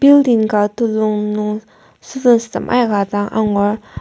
building ka telung nung students tem aika dang angur.